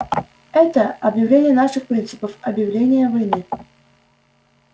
это объявление наших принципов объявление войны